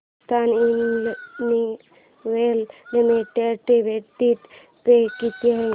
Hindustan Unilever limited dividend pay किती आहे